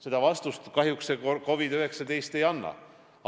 Seda vastust kahjuks COVID-19 ei anna.